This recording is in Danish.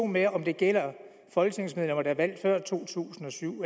med om det gælder folketingsmedlemmer der er valgt før to tusind og syv